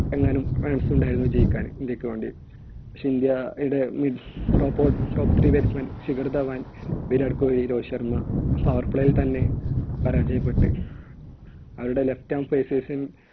എങ്ങാനും runs ഉണ്ടായിരുന്നു ജയിക്കാൻ ഇന്ത്യയ്ക്കു വേണ്ടി. പക്ഷെ ഇന്ത്യയുടെ mid top, top three batsman Shikhar Dhawan, Virat Kohli, Rohit Sharma power play യിൽത്തന്നെ പരാജയപ്പെട്ട് അവരുടെ left arm phases